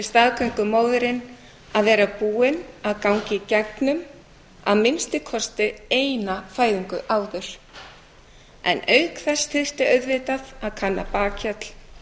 staðgöngumæðrun að vera búin að ganga í gegnum að minnsta kosti eina fæðingu áður en auk þess þyrfti auðvitað að kanna bakhjarl